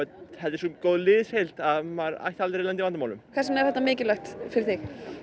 er svo góð liðsheild að maður ætti aldrei að lenda í vandamálum hvers vegna er þetta mikilvægt fyrir þig